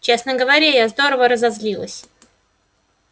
честно говоря я здорово разозлилась